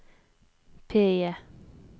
PIE